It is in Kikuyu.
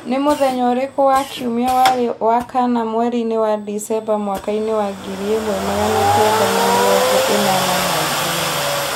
Nĩ mũthenya ũrĩkũ wa kiumia warĩ wa kana mweri-inĩ wa Dicemba mwaka-inĩ wa ngiri ĩmwe magana kenda na mĩrongo ĩnana na igĩrĩ